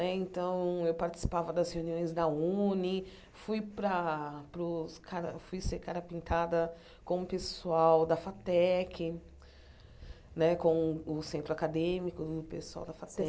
Né então, eu participava das reuniões da Uni, fui para para os cara fui ser cara pintada com o pessoal da FATEC né, com o o centro acadêmico do pessoal da FATEC.